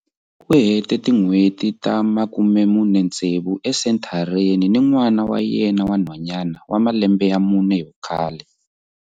U hete tin'hweti ta 46 esenthareni ni n'wana wa yena wa nhwanyana wa malembe ya mune hi vukhale.